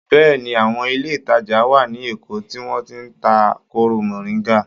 Bẹ́ẹ̀ni. Àwọn ilé-ìtàjà wà ní Èkó tí wọ́n ti ń ta kóró mọ̀ríńgà.